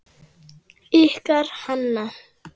Ykkar Hanna.